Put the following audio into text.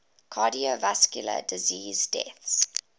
cardiovascular disease deaths